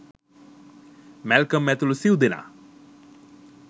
Malcolm ඇතුළු සිව්දෙනා